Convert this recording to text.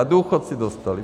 A důchodci dostali.